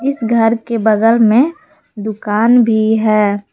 इस घर के बगल में दुकान भी है।